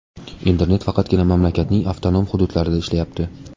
Internet faqatgina mamlakatning avtonom hududlarida ishlayapti.